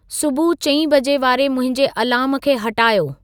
सुबुह चई बजे वारे मुंहिंजे अलार्म खे हटायो